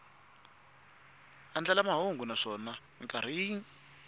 andlala mahungu naswona mikarhi yin